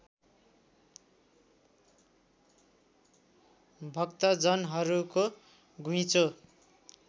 भक्तजनहरूको घुइँचो